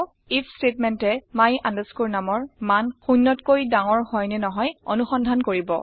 if ষ্টেটমেণ্টে my numৰ মান শূন্যতকৈ ডাঙৰ হয় নে নহয় অনুসন্ধান কৰিব